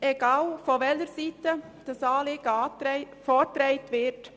Egal, von welcher Seite dieses Anliegen vorgetragen wird: